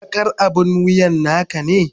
Bakar abin wuyan naka ne?